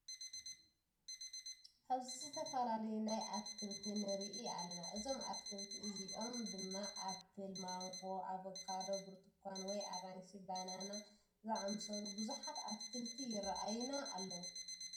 ኣብዚ ዝተፈላለዩ ናይ ኣትክልቲ ንርኢ ኣለና። እዞም ኣትክልቲ እዚኦም ድማ ኣምፕል ማንጎ፣ ኣቨካዶ ብርትኳን ወይ ኣራንሺ፣ በናና እዛምሰሉ ቡዙኣት ኣትክልቲ ይረአዩና ኣለዉ።